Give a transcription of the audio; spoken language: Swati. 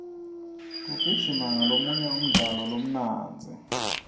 kugijima ngolomunye umdlalo lomnandzi